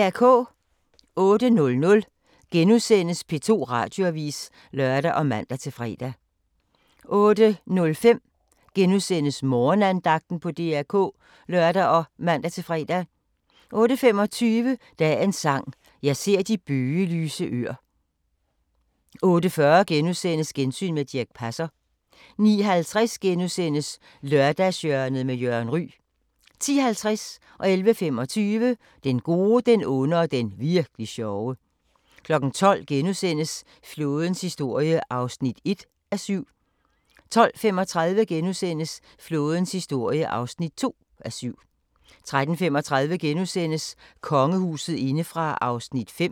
08:00: P2 Radioavis *(lør og man-fre) 08:05: Morgenandagten på DR K *(lør og man-fre) 08:25: Dagens Sang: Jeg ser de bøgelyse øer 08:40: Gensyn med Dirch Passer * 09:50: Lørdagshjørnet med Jørgen Ryg * 10:50: Den gode, den onde og den virk'li sjove 11:25: Den gode, den onde og den virk'li sjove 12:00: Flådens historie (1:7)* 12:35: Flådens historie (2:7)* 13:35: Kongehuset indefra (5:7)*